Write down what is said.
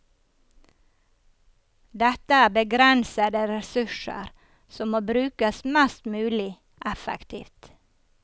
Dette er begrensede ressurser som må brukes mest mulig effektivt.